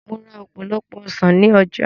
Mo ra ọ̀pọ̀lọpọ̀ ọsàn ní ọjà